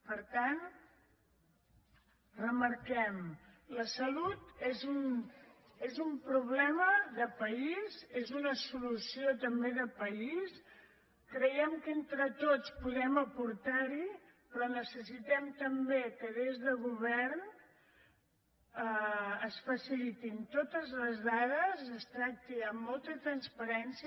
per tant remarquem la salut és un problema de país és una solució també de país creiem que entre tots podem aportar hi però necessitem també que des del govern es facilitin totes les dades es tracti amb molta transparència